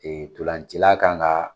Ee ntolancila kan ka